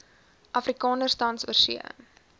afrikaners tans oorsee